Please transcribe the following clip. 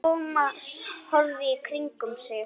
Thomas horfði í kringum sig.